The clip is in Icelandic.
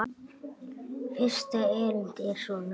Fyrsta erindi er svona